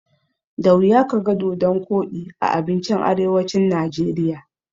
Da wuya kaga dodon koɗi a abincin arewacin Najeriya.